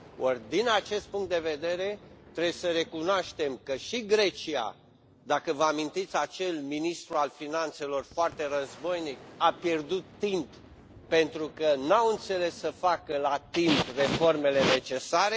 Or, din acest punct de vedere, trebuie să recunoaștem că și Grecia dacă vă amintiți acel ministru al finanțelor foarte războinic a pierdut timp, pentru că nu au înțeles să facă la timp reformele necesare.